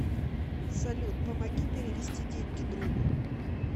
салют помоги перевести деньги другу